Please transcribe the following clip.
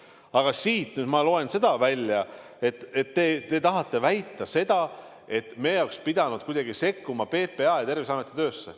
Aga ma loen välja, et te tahate väita seda, et me oleks pidanud kuidagi sekkuma PPA ja Terviseameti töösse.